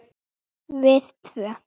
Við tvö.